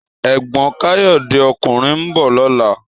Ègbòn Kayode (òkúnrìn) n bò lòlá